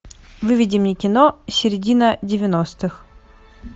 выведи мне кино середина девяностых